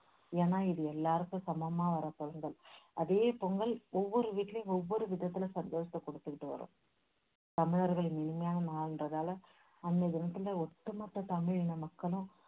ஏன்னா, இது எல்லாருக்கும் சமமா வர்ற பொங்கல். அதே பொங்கல் ஒவ்வொரு வீட்டுலேயும் ஒவ்வொரு விதத்துல சந்தோஷத்தை குடுத்துகிட்டு வரும். தமிழர்களின் இனிமையான நாளுன்றதுனால அன்னைய தினத்துல ஓட்டு மொத்த தமிழின மக்களும்